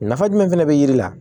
Nafa jumɛn fɛnɛ be yiri la